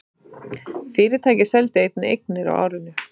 Fyrirtækið seldi einnig eignir á árinu